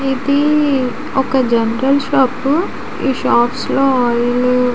ఇది ఒక general shop ఈ షాప్స్ లో ఆయిల్ --